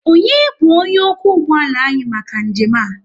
Onye bu onye okwu ụgbọala anyị maka njem a?